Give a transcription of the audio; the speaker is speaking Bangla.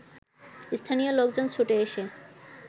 স্থানীয় লোকজন ছুটে এসে